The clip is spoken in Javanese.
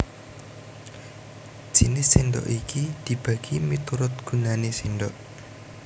Jinis sèndhok iki dibagi miturut gunané sèndhok